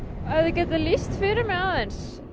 getur þú lýst fyrir mig